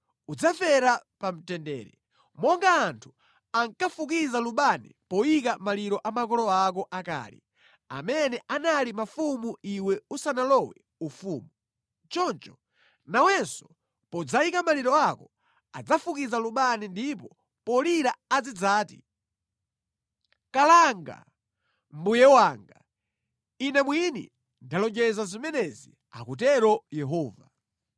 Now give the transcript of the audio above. udzafera pa mtendere. Monga anthu ankafukiza lubani poyika maliro a makolo ako akale, amene anali mafumu iwe usanalowe ufumu, choncho nawenso podzayika maliro ako adzafukiza lubani ndipo polira azidzati, ‘Kalanga, mbuye wanga!’ Ine mwini ndalonjeza zimenezi, akutero Yehova.”